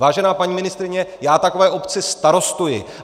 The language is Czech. Vážená paní ministryně, já takové obci starostuji.